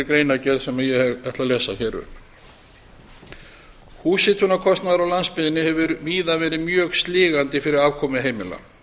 greinargerð sem ég ætla að lesa hér upp húshitunarkostnaður á landsbyggðinni hefur víða verið mjög sligandi fyrir afkomu heimila